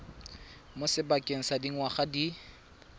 mo sebakeng sa dingwaga di